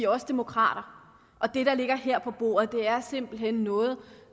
også demokrater og det der ligger her på bordet er simpelt hen noget